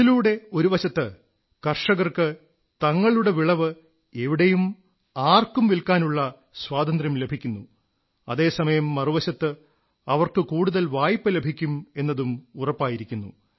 ഇതിലൂടെ ഒരുവശത്ത് കർഷകർക്ക് തങ്ങളുടെ വിളവ് എവിടെയും ആർക്കും വില്ക്കാനുള്ള സ്വാതന്ത്ര്യം ലഭിക്കുന്നു അതേ സമയം മറുവശത്ത് അവർക്ക് കൂടുതൽ വായ്പ ലഭിക്കും എന്നതും ഉറപ്പായിരിക്കുന്നു